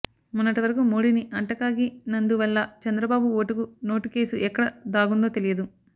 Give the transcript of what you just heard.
మొన్నటి వరకు మోడీని అంటకాగి నందువల్ల చంద్రబాబు ఓటుకు నోటు కేసు ఎక్కడ దాగుందో తెలియదు